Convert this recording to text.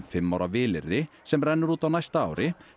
fimm ára vilyrði sem rennur út á næsta ári